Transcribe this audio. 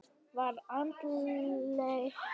Var andleysi í liðinu?